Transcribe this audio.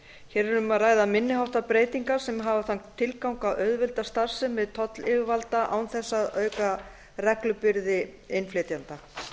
hér er um að ræða minni háttar breytingar sem hafa þann tilgang að auðvelda starfsemi tollyfirvalda án þess að auka reglubyrði innflytjenda